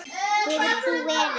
Hefur þú verið á túr?